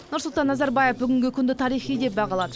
нұрсұлтан назарбаев бүгінгі күнді тарихи күн деп бағалады